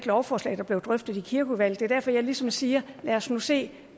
lovforslag der blev drøftet i kirkeudvalget det er derfor jeg ligesom siger lad os nu se